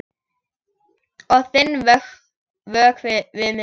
Og þinn vökvi við minn.